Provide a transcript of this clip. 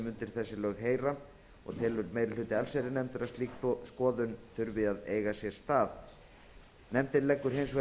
undir þessi lög heyra og telur meiri hluti allsherjarnefndar að slík skoðun þurfi að eiga sér stað meiri hluti nefndarinnar leggur